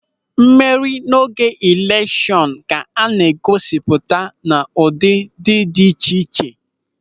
Mmeri n'oge eleshọn ka a na-egosipụta n'ụdị dị iche iche.